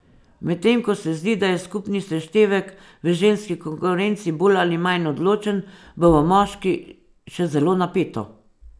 Medtem ko se zdi, da je skupni seštevek v ženski konkurenci bolj ali manj odločen, bo v moški še zelo napeto.